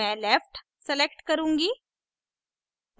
मैं left select करुँगी